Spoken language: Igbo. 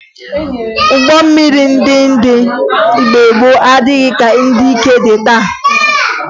Ụgbọ mmiri ndị dị mgbe gboo adịghị ka ndị nke dị taa